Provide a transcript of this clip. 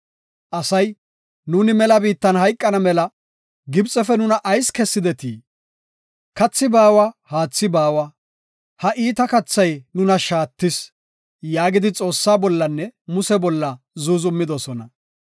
Asay, “Nuuni mela biitta hayqana mela Gibxefe nuna ayis kessidetii? Kathi baawa; haathi baawa; ha iita kathay nuna shaattis” yaagidi Xoossaa bollanne Muse bolla zuuzumidosona.